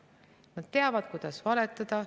Nad teavad, kuidas valetada.